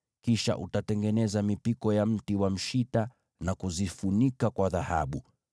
Kisha utatengeneza mipiko ya mti wa mshita na kuzifunika kwa dhahabu.